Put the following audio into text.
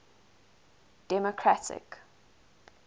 democratic